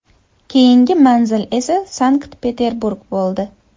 Keyingi manzil esa Sankt-Peterburg bo‘ldi.